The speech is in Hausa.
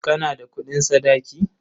Kana da kuɗin sadaki?